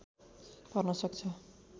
पर्न सक्छ